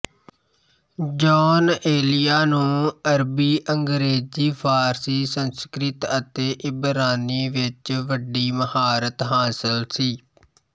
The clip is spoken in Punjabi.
ਜੌਨ ਏਲੀਆ ਨੂੰ ਅਰਬੀ ਅੰਗਰੇਜ਼ੀ ਫ਼ਾਰਸੀ ਸੰਸਕ੍ਰਿਤ ਅਤੇ ਇਬਰਾਨੀ ਵਿੱਚ ਵੱਡੀ ਮਹਾਰਤ ਹਾਸਲ ਸੀ